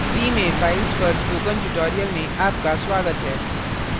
c में files पर spoken tutorial में आपका स्वागत है